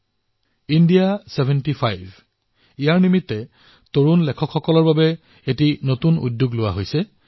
যুৱ লেখকসকলৰ বাবে ইণ্ডিয়া চেভেন্টি ফাইভৰ নিমিত্তে এক পদক্ষেপৰ সূচনা কৰা হৈছে